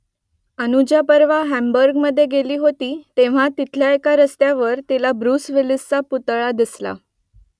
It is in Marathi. अनुजा परवा हॅम्बुर्गमधे गेली होती तेव्हा तिथल्या एका रस्त्यावर तिला ब्रुस विलिसचा पुतळा दिसला